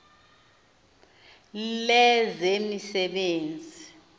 lezemisebenzi